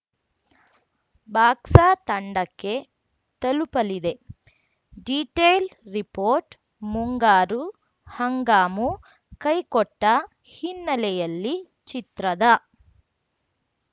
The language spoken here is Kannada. ಬಾಕ್ಸ ತಂಡಕ್ಕೆ ತಲುಪಲಿದೆ ಡೀಟೈಲ್‌ ರಿಪೋರ್ಟ್‌ ಮುಂಗಾರು ಹಂಗಾಮು ಕೈಕೊಟ್ಟಹಿನ್ನೆಲೆಯಲ್ಲಿ ಚಿತ್ರದ